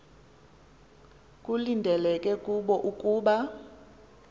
kulindeleke kubo ukuba